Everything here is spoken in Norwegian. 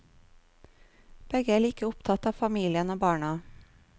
Begge er like opptatt av familien og barna.